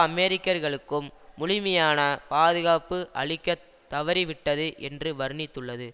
அமெரிக்கர்களுக்கும் முழுமையான பாதுகாப்பு அளிக்க தவறிவிட்டது என்று வர்ணித்துள்ளது